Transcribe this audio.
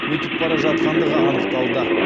өтіп бара жатқандығы анықталды